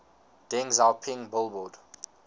deng xiaoping billboard